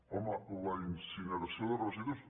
home la incineració de residus